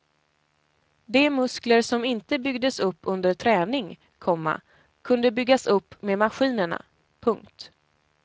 De muskler som inte byggdes upp under träning, komma kunde byggas upp med maskinerna. punkt